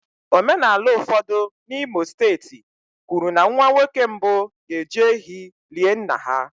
Omenala ụfọdụ n'Imo steeti kwuru na nwa nwoke mbụ ga-eji ehi lie nna ha